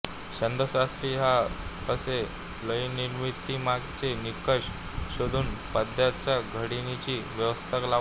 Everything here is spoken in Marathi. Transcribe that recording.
छंदःशास्त्री ह्या असे लयनिर्मितीमागचे निकष शोधून पद्याच्या घडणीची व्यवस्था लावतात